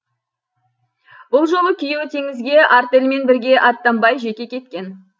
бұл жолы күйеуі теңізге артельмен бірге аттанбай жеке кеткен